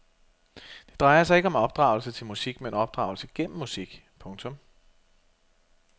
Det drejer sig ikke om opdragelse til musik men opdragelse gennem musik. punktum